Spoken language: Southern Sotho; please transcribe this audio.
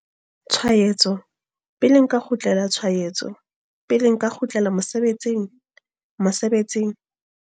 Tshwaetso, pele nka kgutlela tshwaetso, pele nka kgutlela mosebetsing? Mosebetsing?